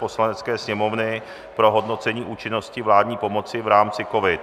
Poslanecké sněmovny pro hodnocení účinnosti vládní pomoci v rámci COVID